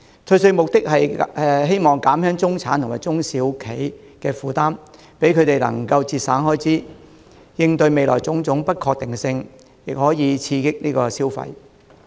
退稅的目的，是希望減輕中產和中小企的負擔，讓他們能夠節省開支，應對未來的種種不確定性，亦可以刺激消費。